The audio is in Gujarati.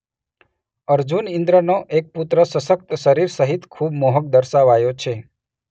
અર્જુન ઈઁદ્રનો પુત્ર એક સશક્ત શરીર સહિત ખૂબ મોહક દર્શાવાયો છે.